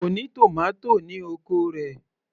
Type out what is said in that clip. Kò ní tòmátò ní oko rẹ̀